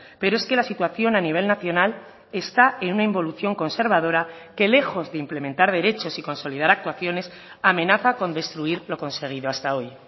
pero es que la situación a nivel nacional está en una involución conservadora que lejos de implementar derechos y consolidar actuaciones amenaza con destruir lo conseguido hasta hoy